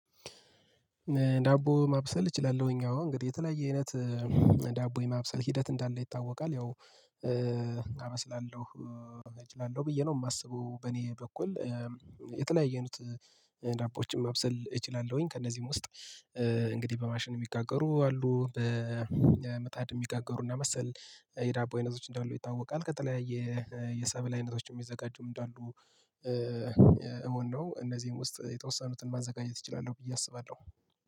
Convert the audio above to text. ዳቦ ማብሰል እችላለሁኝ አወ የተለያየ አይነት ዳቦ የማብሰል ሂደት እንዳለ ይታወቃል። ያው አመስላለሁ እጅላለሁ ብዬ ነው የማስበው በኔ በኩል የተለያየኑት ዳቦወችን ማብሰል እችላለሁኝ። ከእነዚህም ውስጥ እንግዲህ በማሽን የሚጋገሩ አሉ በመጣድ የሚጋገሩና መሰል የዳቦ አይነቶች እንዳሉ ይታወቃል። ቀጥለው የሰብል አይነቶችን የዘጋጀውም እንዳሉ እውነት ነው። እነዚህን ውስጥ የተወሰኑትን ማዘጋጀት እችላለሁ ብዬ አስባለሁ።